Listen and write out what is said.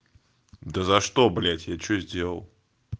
да за что блять я что сделал